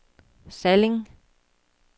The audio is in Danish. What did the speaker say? Salling